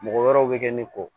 Mɔgɔ wɛrɛw bɛ kɛ ne kɔ